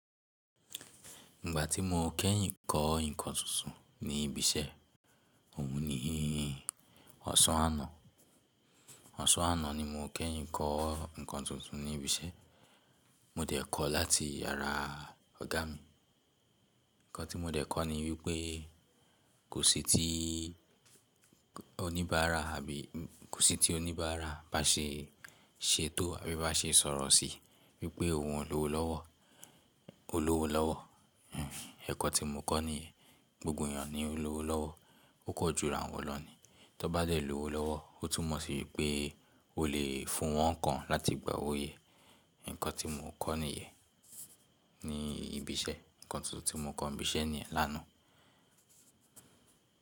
Ìgbà tí mo kẹ́yìn kọ́ nǹkan tuntun ní ibi iṣẹ́, òun nì yìí. Ọ̀sán àná, ọ̀sán àná ni mo kẹ́yìn kọ́ nǹkan tuntun ní ibi iṣẹ́. Mo dẹ̀ kọ láti ara ọ̀gá mi ǹkan tí mo dẹ̀ kọ́ ni wípé kò sí ti oníbàárà àbí kò sí ti oníbàárà bá ṣe ṣetó àbí bá ṣe sọ̀rọ̀ sí wípé òun ò lówó lọ́wọ́, ó lówó lọ́wọ́. Ẹ̀kọ́ tí mo kọ́ ni gbogbo ènìyàn ni ó lówó lọ́wọ́, ó kò ju irawọn lọ ni. Tó bá lè lówó lọ́wọ́, ó tún mọ̀ sí wípé o lè fún wọn ńkan láti gbà owó yé. Ǹkan tí mo kọ́ nìyen ní ibi iṣẹ́, ǹkan tuntun tí mo kọ́ ní ibi iṣẹ́ nìyen l'ánàá.